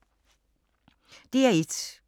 DR1